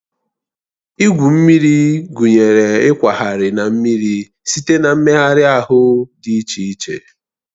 Igwu mmiri gụnyere ịkwagharị na mmiri site na mmegharị ahụ dị iche iche